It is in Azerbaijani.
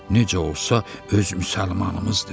Necə olsa öz müsəlmanımızdır.